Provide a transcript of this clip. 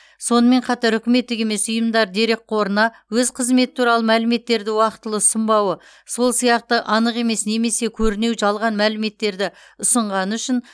сонымен қатар үкіметтік емес ұйымдар дерекқорына өз қызметі туралы мәліметтерді уақытылы ұсынбауы сол сияқты анық емес немесе көрінеу жалған мәліметтерді ұсынғаны үшін